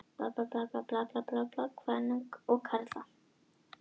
Þetta má einnig lesa út úr starfsvali kvenna og karla.